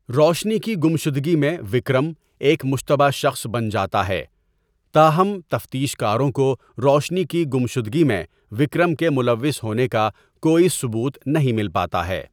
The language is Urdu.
روشنی کی گمشدگی میں وکرم ایک مشتبہ شخص بن جاتا ہے ، تاہم ، تفتیش کاروں کو روشنی کی گمشدگی میں وکرم کے ملوث ہونے کا کوئی ثبوت نہیں مل پاتا ہے۔